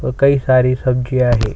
अऊ कई सारी सब्जिया हैं।